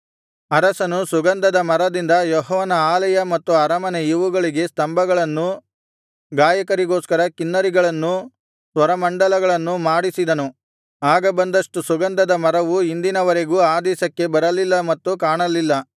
ಅರಸನು ಸುಗಂಧದ ಮರದಿಂದ ಯೆಹೋವನ ಆಲಯ ಮತ್ತು ಅರಮನೆ ಇವುಗಳಿಗೆ ಸ್ತಂಭಗಳನ್ನು ಗಾಯಕರಿಗೋಸ್ಕರ ಕಿನ್ನರಿಗಳನ್ನೂ ಸ್ವರಮಂಡಲಗಳನ್ನೂ ಮಾಡಿಸಿದನು ಆಗ ಬಂದಷ್ಟು ಸುಗಂಧದ ಮರವು ಇಂದಿನ ವರೆಗೂ ಆ ದೇಶಕ್ಕೆ ಬರಲಿಲ್ಲ ಮತ್ತು ಕಾಣಲಿಲ್ಲ